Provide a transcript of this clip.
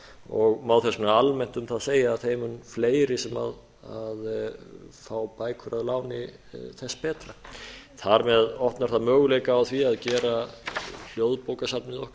og má þess vegna almennt um það segja að þeim mun fleiri sem fá bækur að láni þess betra þar með opnar það möguleika á því að gera hljóðbókasafnið okkar